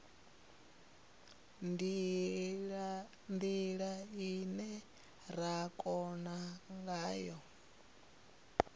ndila ine ra kona ngayo